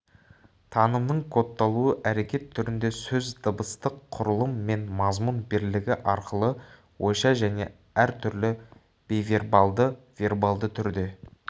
танымның кодталуы әрекет түрінде сөз дыбыстық құрылым мен мазмұн бірлігі арқылы ойша және әр түрлі бейвербалды вербалды түрде